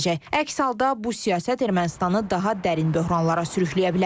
Əks halda bu siyasət Ermənistanı daha dərin böhranlara sürükləyə bilər.